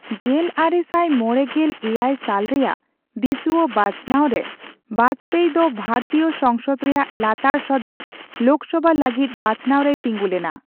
ᱜᱮᱞᱟᱨᱮ ᱥᱟᱭ ᱢᱚᱲᱮ ᱜᱮᱞ ᱮᱭᱟᱭ ᱥᱟᱞ ᱨᱮᱭᱟᱜ ᱫᱤᱥᱣᱟᱹ ᱵᱟᱪᱷᱱᱟᱣ ᱨᱮ, ᱵᱟᱡᱯᱮᱭ ᱫᱚ ᱵᱷᱟᱨᱛᱤᱭᱚ ᱥᱚᱝᱥᱚᱫ ᱨᱮᱭᱟᱜ ᱞᱟᱛᱟᱨ ᱥᱚᱫᱚᱱ ᱞᱳᱠᱥᱚᱵᱷᱟ ᱞᱟᱹᱜᱤᱫ ᱵᱟᱪᱷᱱᱟᱣ ᱨᱮᱭ ᱛᱤᱸᱜᱩ ᱞᱮᱱᱟ᱾